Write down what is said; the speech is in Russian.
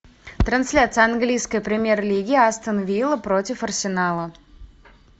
трансляция английской премьер лиги астон вилла против арсенала